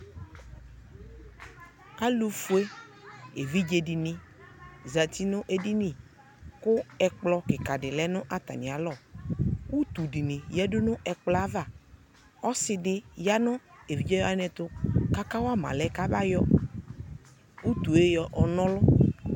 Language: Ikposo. Alʋfue evidze di ni zati nʋ edini kʋ ɛkplɔ kika di lɛ nʋ atami alɔ Utu di ni yadu nʋ ɛkplɔ yɛ avaƆsi di yanʋ evidze wani ɛtʋ kaka wama alɛ kabayɔ utu e yɔnɔlʋ